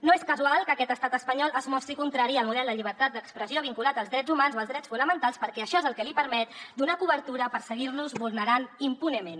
no és casual que aquest estat espanyol es mostri contrari al model de llibertat d’expressió vinculat als drets humans o als drets fonamentals perquè això és el que li permet donar cobertura per seguir nos vulnerant impunement